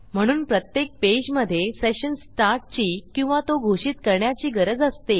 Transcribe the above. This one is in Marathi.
म्हणून प्रत्येक पेजमधे सेशन स्टार्ट ची किंवा तो घोषित करण्याची गरज असते